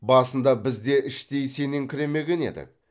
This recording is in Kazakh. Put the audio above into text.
басында біз де іштей сеніңкіремеген едік